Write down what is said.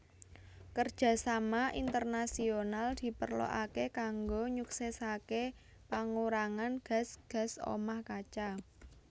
Kerjasama internasional diperlokaké kanggo nyuksèsaké pangurangan gas gas omah kaca